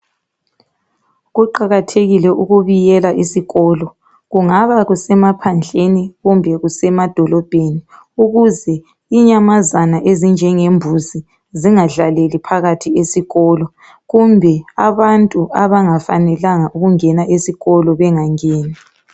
Kuqakathekile ukubiyela isikolo, kungaba kusemaphandleni kumbe kusemadolobheni, ukuze inyamazana ezinjengembuzi zingadlaleli phakathi esikolo, kumbe abantu abangafanelanga ukungena esikolo bengangeni.